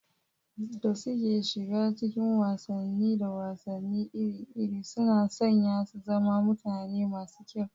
da suke shiga cikin wasanni da wasanni iri-iri, suna sanya su zama mutane masu kyau.